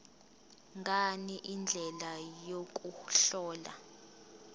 ngani indlela yokuhlola